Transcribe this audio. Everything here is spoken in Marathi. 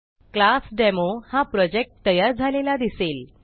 क्लासडेमो हा प्रोजेक्ट तयार झालेला दिसेल